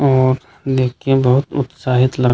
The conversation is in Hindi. और देखिए बहुत उत्साहित लग --